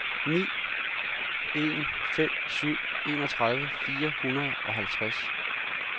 ni en fem syv enogtredive fire hundrede og halvtreds